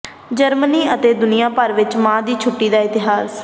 Germany ਅਤੇ ਦੁਨੀਆਂ ਭਰ ਵਿੱਚ ਮਾਂ ਦੀ ਛੁੱਟੀ ਦਾ ਇਤਿਹਾਸ